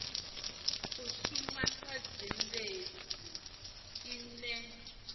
u shuma sa zhendedzi ine